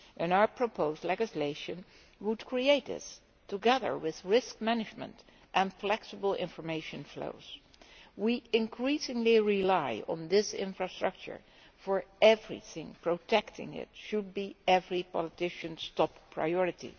Our proposed legislation would put these in place, together with risk management and flexible information flows. We rely increasingly on this infrastructure for everything, and protecting it should be every politician's top priority.